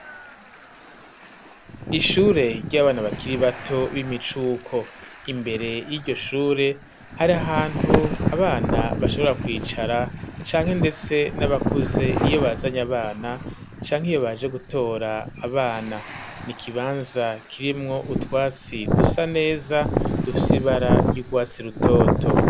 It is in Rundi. ishure ry'abana bakiri bato b'imicuko, imbere yiryo shure hari ahantu abana bashobora kwicara canke ndetse n'abakuze iyo bazanye abana canke iyo baje gutora abana, nikibanza kirimwo utwasi dusa neza dufise ibara ry'ugwatsi rutoto.